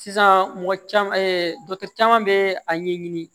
Sisan mɔgɔ caman caman bɛ a ɲɛɲini